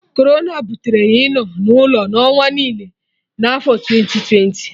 Corona butere ịnọ na ụlọ n'ụwa niile na afo twenti twenti